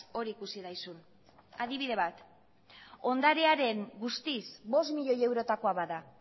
hori ikusi daizun adibide bat ondarearen guztiz bost miloi eurotakoa bada